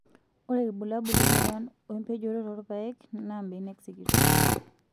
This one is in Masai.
Ore irbulabul lemoyian oo empojoto toorpaek naa mnekek sikitok